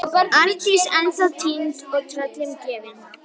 Arndís ennþá týnd og tröllum gefin.